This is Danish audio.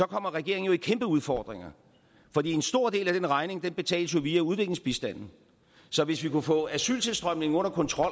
regeringen jo kæmpe udfordringer for en stor del af den regning betales jo via udviklingsbistanden så hvis vi kunne få asyltilstrømningen under kontrol